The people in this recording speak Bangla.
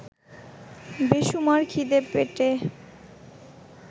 বেসুমার খিদে পেটে